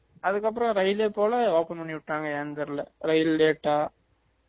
அதுக்கப்பறம் ரயில்லே போல open பண்ணி விட்டாங்க ஏன் தெறியல ரயில் late ஆ